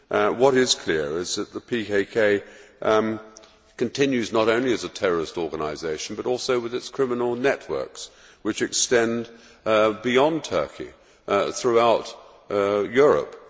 What is clear is that the PKK continues not only as a terrorist organisation but also with its criminal networks, which extend beyond Turkey throughout Europe.